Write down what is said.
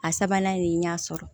A sabanan nin y'a sɔrɔ